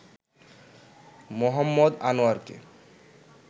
Mohammad আনোয়ারকে